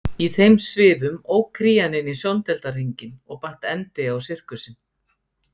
Í þeim svifum ók Krían inn í sjóndeildarhringinn og batt endi á sirkusinn.